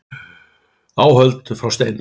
Áhöld frá steinöld.